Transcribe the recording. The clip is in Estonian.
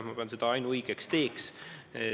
Ma pean seda ainuõigeks teeks.